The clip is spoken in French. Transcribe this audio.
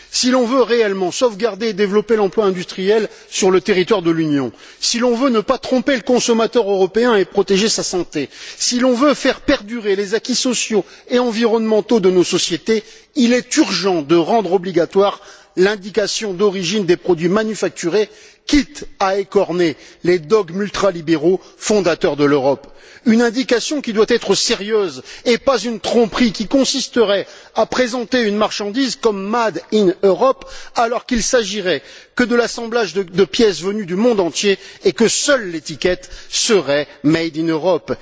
Si l'on veut réellement sauvegarder et développer l'emploi industriel sur le territoire de l'Union, si l'on veut ne pas tromper le consommateur européen et protéger sa santé, si l'on veut faire perdurer les acquis sociaux et environnementaux de nos sociétés, il est urgent de rendre obligatoire l'indication d'origine des produits manufacturés, quitte à écorner les dogmes ultralibéraux fondateurs de l'Europe une indication qui doit être sérieuse, et pas une tromperie qui consisterait à présenter une marchandise comme made in Europe alors qu'il ne s'agirait que de l'assemblage de pièces venues du monde entier et que seule l'étiquette serait made in Europe